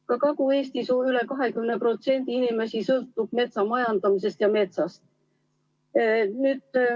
Ka Kagu-Eestis sõltub üle 20% inimesi metsamajandamisest ja metsast.